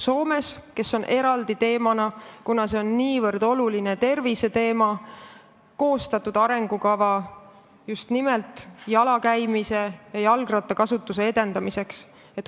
Soomes on see eraldi teema ja kuna see on niivõrd oluline terviseteema, siis on koostatud arengukava just nimelt jala käimise ja jalgrattakasutuse edendamiseks.